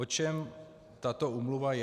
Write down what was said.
O čem tato úmluva je?